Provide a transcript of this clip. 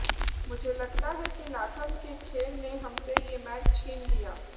मुझे लगता है कि लाथम के खेल ने हमसे ये मैच छीन लिया